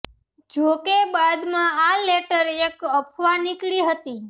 જો કે બાદમાં આ લેટર એક અફવા નીકળી હતી